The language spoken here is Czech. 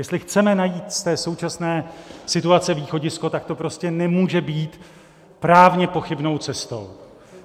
Jestli chceme najít z té současné situace východisko, tak to prostě nemůže být právně pochybnou cestou.